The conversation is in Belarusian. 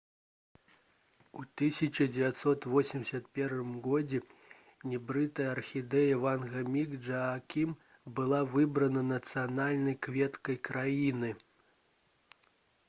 у 1981 годзе гібрыдная архідэя «ванда міс джаакім» была выбрана нацыянальнай кветкай краіны